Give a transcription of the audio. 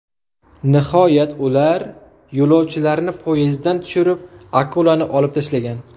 Nihoyat ular yo‘lovchilarni poyezddan tushirib, akulani olib tashlagan.